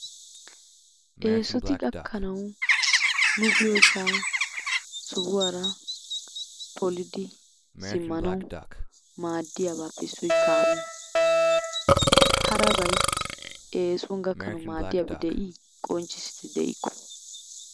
Eessoti gakkanaw nu biyoosa sohuwaara polidi simmanaw maaddiyabappe issoy kaamiya. Harabay eessuwan gakaana maaddiyaabi de"i qonccisse de"ikko.